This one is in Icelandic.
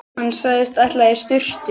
Hann sagðist ætla í sturtu.